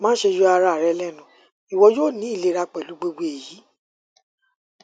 maṣe yọ ara rẹ lẹnu iwọ yoo ni ilera pẹlu gbogbo eyi